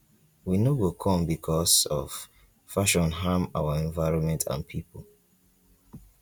we no go come becos of fashion harm our environment and pipo